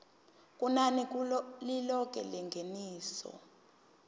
kunani lilonke lengeniso